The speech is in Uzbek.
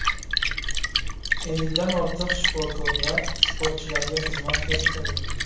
Ellikdan ortiq shifokorlar sportchilarga xizmat ko‘rsatadi”.